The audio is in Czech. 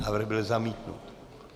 Návrh byl zamítnut.